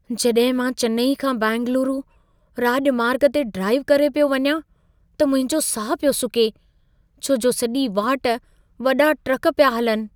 जॾहिं मां चेन्नई खां बेंगलुरु राॼमार्ग ते ड्राइव करे पियो वञा, त मुंहिंजो साहु पियो सुके, छो जो सॼी वाट वॾा ट्रक पिया हलनि।